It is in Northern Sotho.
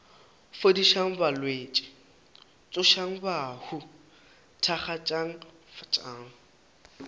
fodišang balwetši tsošang bahu thakgafatšang